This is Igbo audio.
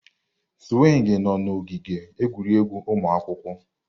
Swingi nọ n'ogige egwuregwu ụmụ akwụkwọ.